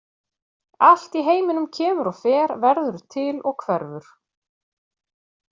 Allt í heiminum kemur og fer, verður til og hverfur.